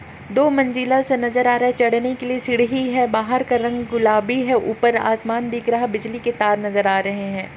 दो मंज़िल सा नज़र आ रहा है चढ़ने के लिए सीढ़ी है बहार का रंग गुलाबी है ऊपर आसमान दिख रहा है बिजली के तार नज़र आ रहे है।